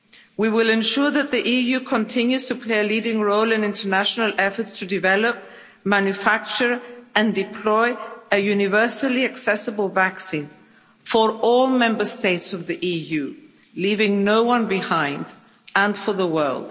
We will ensure that the EU continues to play a leading role in international efforts to develop, manufacture and deploy a universally accessible vaccine for all Member States of the EU, leaving no one behind, and for the world.